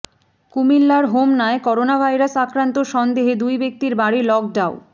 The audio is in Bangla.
কুমিল্লার হোমনায় করোনাভাইরাস আক্রান্ত সন্দেহে দুই ব্যক্তির বাড়ি লকডাউ